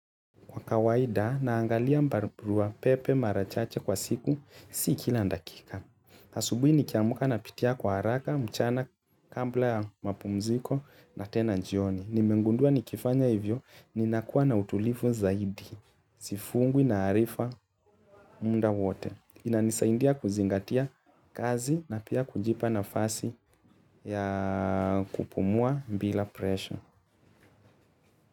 Kwa kawaida, naangalia barua pepe mara chache kwa siku si kila dakika. Asubuhi nikiamka napitia kwa haraka, mchana, kabla ya mapumziko na tena jioni. Nimengundua nikifanya hivyo, ninakuwa na utulivu zaidi. Sifungwi na harifa muda wote. Inanisaidia kuzingatia kazi na pia kujipa nafasi ya kupumua bila presha.